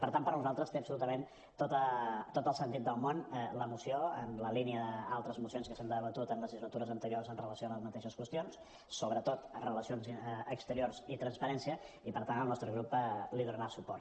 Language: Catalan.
per tant per nosaltres té absolutament tot el sentit del món la moció en la línia d’altres mocions que s’han debatut en legislatures anteriors amb relació a les mateixes qüestions sobretot amb relació a exteriors i transparència i per tant el nostre grup hi donarà suport